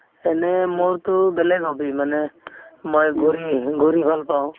এনে মোৰতো বেলেগ hobby মানে মই ঘূৰি~ ঘূৰি ভাল পাওঁ